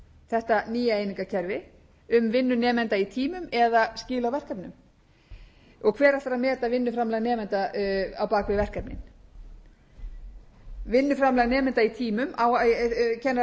þetta nýja einingakerfi um vinnu nemenda í tímum eða skil á verkefnum og hver ætlar að meta vinnuframlag nemenda á bak við verkefnin vinnuframlag nemenda í tímum kennararnir í kópavoginum spyrja hvort eigi að meta